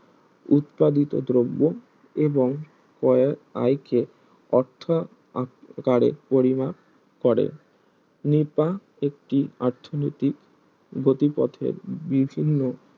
উৎপাদিত দ্রব্য এবং কয়েক আয়কে অর্থাকারে পরিমাপ করে নিপা একটি অর্থনৈতিক গতিপথের বিভিন্ন